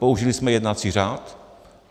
Použili jsme jednací řád.